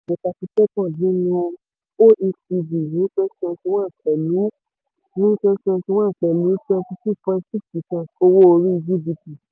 oecd ní twenty twenty one pẹ̀lú ní twenty twenty one pẹ̀lú twenty six point six percent owó orí gdp.